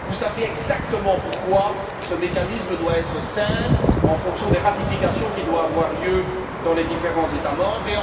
Vous savez exactement pourquoi ce mécanisme doit être simple en raison des ratifications qui doivent avoir lieu dans les différents États membres